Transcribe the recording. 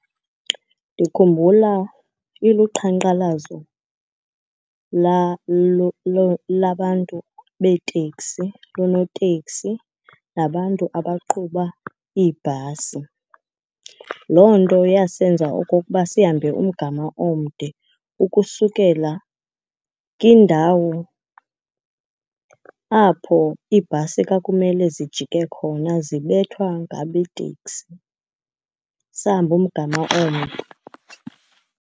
Ndikhumbula iluqhankqalazo labantu beeteksi, loonotekisi nabantu abaqhuba iibhasi. Loo nto yasenza okokuba sihambe umgama omde ukusukela kindawo apho iibhasi kwakumele zijike khona, zibethwa ngabeeteksi. Sahamba umgama omde.